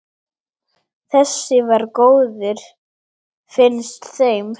Þessi var góður, finnst þeim.